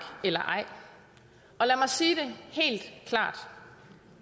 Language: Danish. eller ej og lad mig sige det helt klart